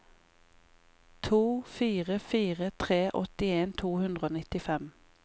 to fire fire tre åttien to hundre og nittifem